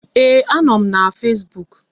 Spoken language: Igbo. Ee, a nọ m na Fesbuuk